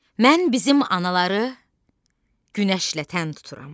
Mən bizim anaları günəşlə tən tuturam.